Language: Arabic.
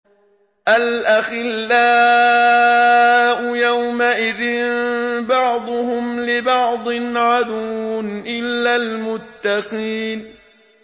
الْأَخِلَّاءُ يَوْمَئِذٍ بَعْضُهُمْ لِبَعْضٍ عَدُوٌّ إِلَّا الْمُتَّقِينَ